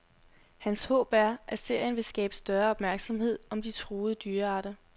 Hans håb er, at serien vil skabe større opmærksomhed om de truede dyrearter.